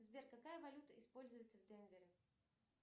сбер какая валюта используется в денвере